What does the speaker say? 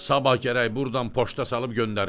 Sabah gərək burdan poşta salıb göndərim.